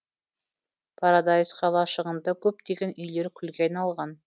парадайс қалашығында көптеген үйлер күлге айналған